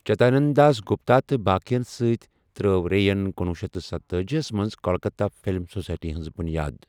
چدانند داس گپتا تہٕ باقٕین سۭتۍ ترٲو رے ین کنوُہ شیتھ تہٕ ستتأجی یَس منٛز کلکتہ فلم سوسائٹیِ ہنز بُنیاد ۔